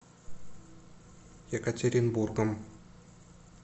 екатеринбургом